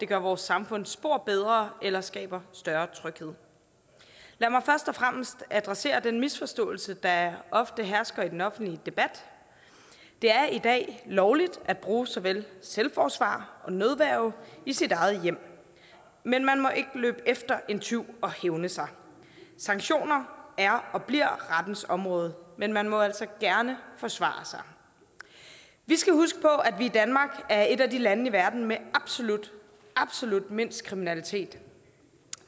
det gør vores samfund spor bedre eller skaber større tryghed lad mig først og fremmest adressere den misforståelse der ofte hersker i den offentlige debat det er i dag lovligt at bruge såvel selvforsvar som nødværge i sit eget hjem men man må ikke løbe efter en tyv og hævne sig sanktioner er og bliver rettens område men man må altså gerne forsvare sig vi skal huske på at vi i danmark er et af de lande i verden med absolut mindst kriminalitet